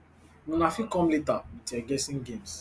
una fit come later wit your guessing games